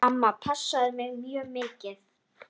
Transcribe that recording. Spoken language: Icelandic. Amma passaði mig mjög mikið.